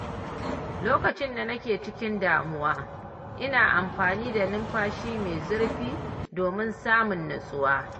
Lokacin da nake cikin damuwa, ina amfani da numfashi mai zurfi domin samun nutsuwa.